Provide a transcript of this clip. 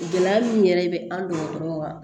Gɛlɛya min yɛrɛ bɛ an dɔgɔtɔrɔ wa